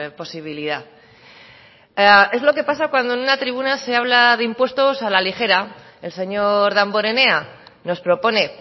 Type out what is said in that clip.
posibilidad es lo que pasa cuando en una tribuna se habla de impuestos a la ligera el señor damborenea nos propone